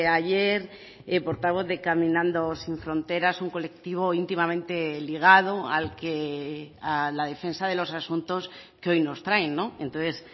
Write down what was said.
ayer portavoz de caminando sin fronteras un colectivo íntimamente ligado a la defensa de los asuntos que hoy nos traen entonces